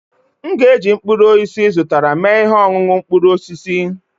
m ga-eji mkpụrụ osisi ị zụtara mee ihe ọṅụṅụ mkpụrụ osisi